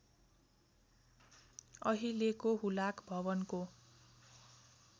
अहिलेको हुलाक भवनको